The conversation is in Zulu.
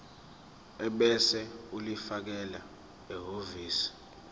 ebese ulifakela ehhovisi